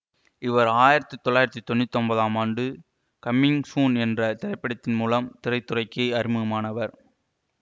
இவர் ஆயிரத்தி தொள்ளாயிரத்தி தொன்னூற்தி ஒன்பதாம் ஆண்டு கமிங் சூன் என்ற திரைப்படத்தின் மூலம் திரைத்துறைக்கு அறிமுகமானார்